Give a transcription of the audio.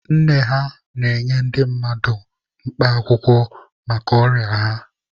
Nne ha na-enye ndị mmadụ mkpa akwụkwọ maka ọrịa ha.